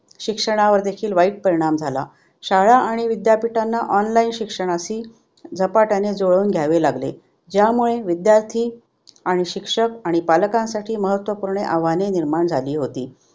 शिक्षणावर देखील वाईट परिणाम झाला. शाळा आणि विद्यापीठांना online शिक्षणाशी झपाट्याने झुळवून घ्यावे लागले ज्यामुळे विद्यार्थी आणि शिक्षक आणि पालाकांसाठी महात्वव्पूर्ण आवाहने निर्माण झाली होती.